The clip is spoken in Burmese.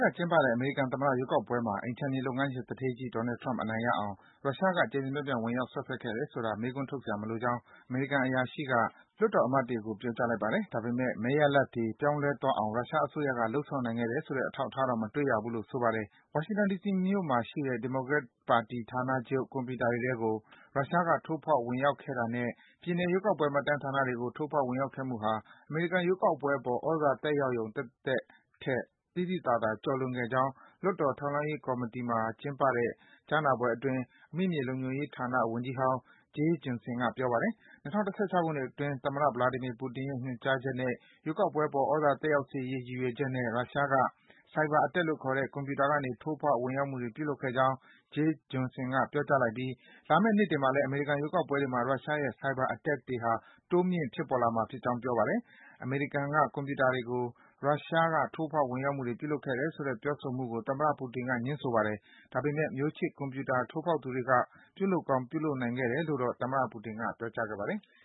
က ကျင်းပတဲ့ အမေရိကန်သမ္မတ ရွေးကောက်ပွဲမှာ အိမ်ခြံမြေ လုပ်ငန်းရှင် သူဌေးကြီး Donald Trump အနိုင်ရအောင် ရုရှားက ကျယ်ကျယ်ပြန့်ပြန့် ဝင်ရောက် စွက်ဖက်ခဲ့တယ်ဆိုတာ မေးခွန်းထုတ်စရာမလိုကြောင်း အမေရိကန် အရာရှိတွေက လွှတ်တော်အမတ်တွေကို ပြောကြားလိုက်ပါတယ်။ ဒါပေမယ့် မဲရလဒ်တွေ ပြောင်းလဲသွားအောင် ရုရှားအစိုးရက လုပ်ဆောင်နိုင်ခဲ့တယ်ဆိုတဲ့ အထောက်အထားတော့ မတွေ့ရဘူးလို့ ဆိုပါတယ်။ ဝါရှင်တန် ဒီစီမြို့မှာရှိတဲ့ ဒီမိုကရက်ပါတီ ဌာနချုပ်က ကွန်ပြူတာတွေထဲကို ရုရှားက ထိုးဖောက် ဝင်ရောက်ခဲ့တာနဲ့ ပြည်နယ် ရွေးကောက်ပွဲ မှတ်တမ်းဌာနတွေကို ထိုးဖောက် ဝင်ရောက်ခဲ့မှုဟာ အမေရိကန် ရွေးကောက်ပွဲအပေါ် သြဇာသက်ရောက်ရုံ သက်သက်ထက် သိသိသာသာ ကျော်လွန်ခဲ့ကြောင်း အောက်လွှတ်တော် ထောက်လှမ်းရေး ကော်မတီမှာ ကျင်းပတဲ့ ကြားနာပွဲအတွင်း အမိမြေလုံခြုံရေးဌာန ဝန်ကြီးဟောင်း Jeh Johnson က ပြောကြားလိုက်ပါတယ်။ ၂၀၁၆ ခုနှစ်အတွင်း သမ္မတ Vladimir Putin ရဲ့ ညွန်ကြားချက်နဲ့ ရွေးကောက်ပွဲအပေါ်သြဇာ သက်ရောက်စေရေး ရည်ရွယ်ချက်နဲ့ ရုရှားက Cyberattack လို့ခေါ်တဲ့ ကွန်ပြူတာကနေ ထိုးဖောက် ဝင်ရောက်မှုတွေ ပြုလုပ်ခဲ့ကြောင်း Jeh Johnson က ပြောကြားလိုက်ပြီး လာမယ့် နှစ်တွေအတွင်းမှာ အမေရိကန် ရွေးကောက်ပွဲတွေမှာ ရုရှားရဲ့ Cyberattack တွေဟာ တိုးမြင့်လာမှာ ဖြစ်ကြောင်း ပြောပါတယ်။ အမေရိကန်က ကွန်ပြူတာတွေကို ရုရှား ထိုးဖောက် ဝင်ရောက်မှုတွေ ပြုလုပ်ခဲ့တယ်ဆိုတဲ့ ပြောဆိုမှုကို သမ္မတ ပူတင်က ငြင်းဆိုထားပါတယ်။ ဒါပေမယ့် မျိုးချစ် ကွန်ပြူတာ ထိုးဖောက်သူတွေက ပြုလုပ်ကောင်း ပြုလုပ်နိုင်ခဲ့တယ်လို့တော့ သမ္မတ ပူတင်က ပြောခဲ့ပါတယ်။